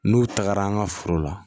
N'u tagara an ka foro la